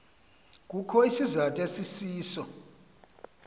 kukho isizathu esisiso